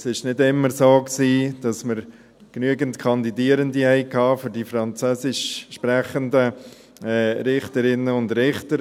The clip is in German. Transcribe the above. Es war nicht immer so, dass wir genügend Kandidierende hatten für die französischsprechenden Richterinnen und Richter.